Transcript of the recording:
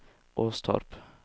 Åstorp